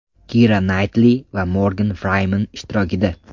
Kira Naytli va Morgan Frimen ishtirokida.